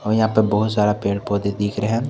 और यहां पे बहुत सारा पेड़-पौधे दिख रहे हैं।